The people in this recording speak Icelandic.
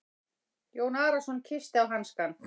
Jón Arason kyssti á hanskann.